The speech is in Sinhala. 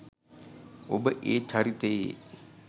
ඔබ ඒ චරිතයේ